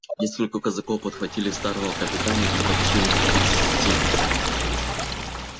несколько казаков подхватили старого капитана и потащили к виселице